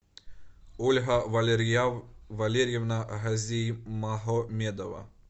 ольга валерьевна газимагомедова